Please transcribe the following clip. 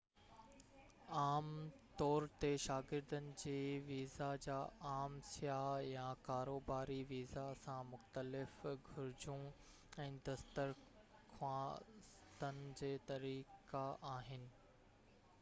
عام طور تي شاگردن جي ويزا جا عام سياح يا ڪاروباري ويزا سان مختلف گهرجون ۽ درخواستن جي طريقا آهن